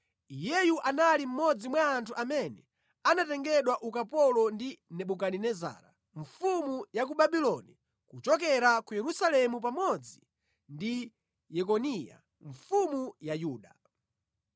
Iyeyu anali mmodzi mwa anthu amene anatengedwa ukapolo ndi Nebukadinezara mfumu ya ku Babuloni kuchokera ku Yerusalemu pamodzi ndi Yekoniya mfumu ya Yuda.